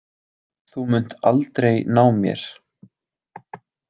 Þú munt aldrei ná mér.